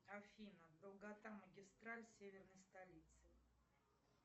афина долгота магистраль серверной столицы